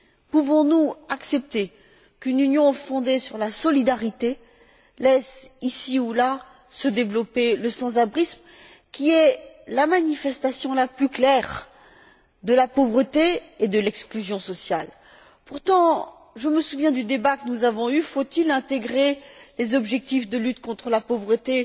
Pouvons nous accepter qu'une Union fondée sur la solidarité laisse, ici ou là, se développer le sans abrisme, qui est la manifestation la plus claire de la pauvreté et de l'exclusion sociale? Pourtant, je me souviens du débat que nous avons eu faut il intégrer les objectifs de lutte contre la pauvreté